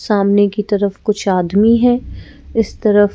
सामने की तरफ कुछ आदमी हैं इस तरफ--